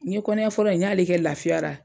N ye kɔnɔya fɔlɔ in , n y'ale kɛ lafiyara.